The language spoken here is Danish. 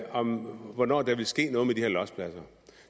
om hvornår der ville ske noget med de her lossepladser